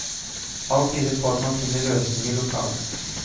Alt tyder på at man finner løsninger lokalt.